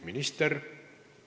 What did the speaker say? Minister?